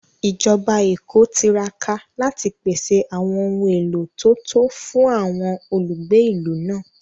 Ìjọba Èkó tiraka láti pèsè àwọn ohun èlò tó tó fún àwọn olùgbé ìlú náà